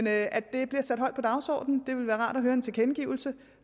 at det bliver sat højt på dagsordenen det ville være rart at høre en tilkendegivelse